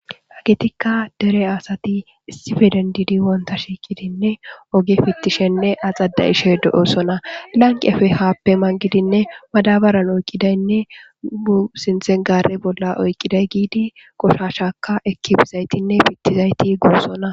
Agetikka dere asati istifeden diidi wonta shiiqidinne oge fittishenne axada ishe do7osona lanqi efe haappe man gidinne madabaran oyqqidaynne bu sinxengare bolla oyqqiday giidi qoshashaka ekibizaytinne pittizayti guosona.